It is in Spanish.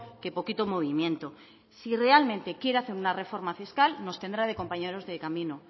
que poquito movimiento si realmente quiere hacer una reforma fiscal nos tendrá de compañeros de camino